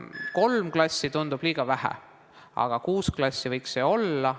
Kolm klassi tundub liiga vähe, aga kuus klassi võiks olla.